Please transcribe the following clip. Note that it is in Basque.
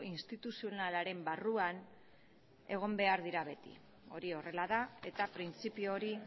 instituzionalaren barruan egon behar dira beti hori horrela da eta printzipio hori